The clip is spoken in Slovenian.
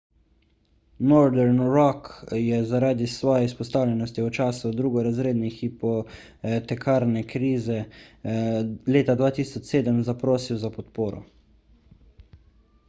northern rock je zaradi svoje izpostavljenosti v času drugorazredne hipotekarne krize leta 2007 zaprosil za podporo